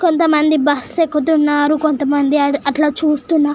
కొంత మంది బస్సు ఎక్కుతున్నరు కొంత మంది అట్లా చుస్తున్నా--